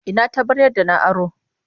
Ina taɓaryar da na aro?